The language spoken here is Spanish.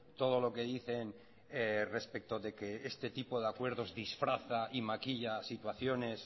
todo lo que dicen respecto de que este tipo de acuerdos disfraza y maquilla situaciones